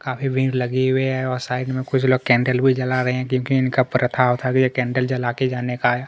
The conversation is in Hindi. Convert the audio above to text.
काफी भीड़ लगे हुए हैं और साइड में कुछ लोग कैन्डल भी जला रहै हैं क्योंकि इनका प्रथा उथा भी हैं कैंडल जला के जाने का--